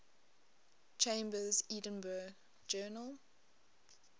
chambers's edinburgh journal